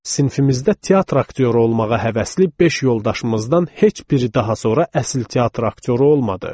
Sinifimizdə teatr aktyoru olmağa həvəsli beş yoldaşımızdan heç biri daha sonra əsl teatr aktyoru olmadı.